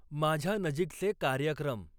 माझ्या नजीकचे कार्यक्रम